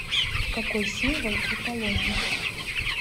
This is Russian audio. какой символ у полоний